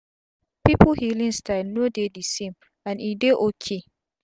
pipu healing style no dey d same and e dey ok